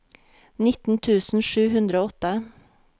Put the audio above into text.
nitten tusen sju hundre og åtte